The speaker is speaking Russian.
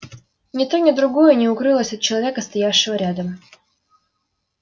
и ни то ни другое не укрылось от человека стоявшего рядом